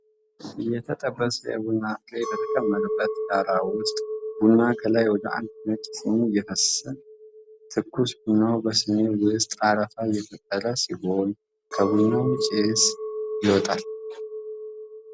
የተጠበሰ የቡና ፍሬ በተከመረበት ዳራ ውስጥ፣ ቡና ከላይ ወደ አንድ ነጭ ስኒ እየፈሰሰ ነው። ትኩስ ቡናው በስኒው ውስጥ አረፋ እየፈጠረ ሲሆን፣ ከቡናውም ጭስ ይወጣል።